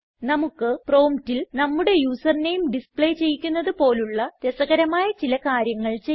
നമുക്ക് പ്രോംപ്റ്റിൽ നമ്മുടെ യൂസർ നെയിം ഡിസ്പ്ലേ ചെയ്യിക്കുന്നത് പോലുള്ള രസകരമായ ചില കാര്യങ്ങൾ ചെയ്യാം